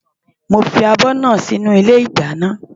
Mo fi abọ́ náà sí inú ilé ìdáná.